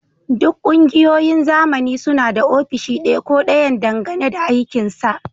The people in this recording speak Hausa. Duk ƙungiyoyin zamani suna da ofishi ɗaya ko ɗayan dangane da aikinsa